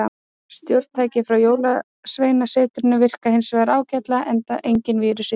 Stjórntækið frá jólsveinasetrinu virkaði hins vegar ágætlega, enda enginn vírus í því.